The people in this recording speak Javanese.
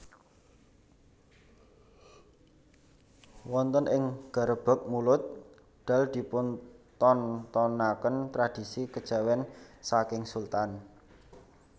Wonten ing Garebeg Mulud Dal dipuntontonaken tradisi kejawen saking Sultan